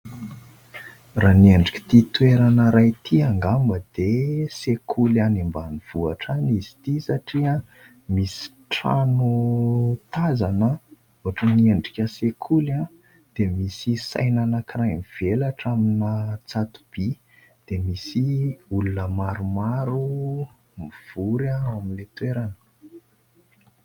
Raha ny endrik'ity toerana iray ity angamba dia sekoly any ambanivohitra any izy ity ; satria misy trano tazana ohatran'ny endrika sekoly, dia misy saina anankiray nivelatra amina tsato-by, dia misy olona maromaro mivory ao amin'ilay toerana.